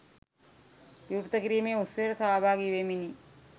විවෘත කිරීමේ උත්සවයට සහභාගි වෙමිනි.